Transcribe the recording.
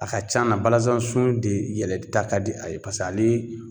A ka c'an na balasan sun de yɛlɛli ta ka di a ye pas'ale